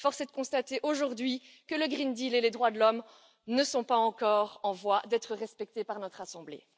Force est de constater aujourd'hui que le pacte vert et les droits de l'homme ne sont pas encore en voie d'être respectés par notre assemblée.